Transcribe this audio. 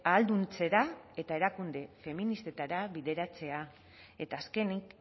ahalduntzera eta erakunde feministetara bideratzea eta azkenik